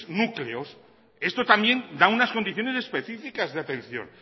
núcleos esto también da unas condiciones específicas de atención